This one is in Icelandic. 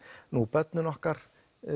börnin okkar